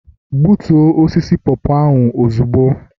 Gbutoo osisi popo ahu ozugbo!